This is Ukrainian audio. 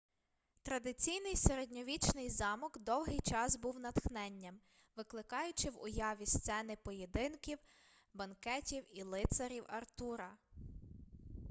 традиційний середньовічний замок довгий час був натхненням викликаючи в уяві сцени поєдинків банкетів і лицарів артура